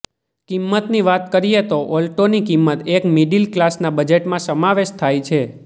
કિંમતની વાત કરીએ તો ઓલ્ટોની કિંમત એક મિડિલ ક્લાસના બજેટમાં સમાવેશ થાય છે